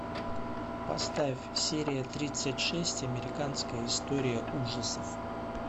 поставь серия тридцать шесть американская история ужасов